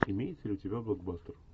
имеется ли у тебя блокбастер